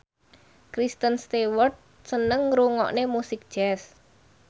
Kristen Stewart seneng ngrungokne musik jazz